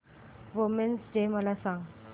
women's day मला सांग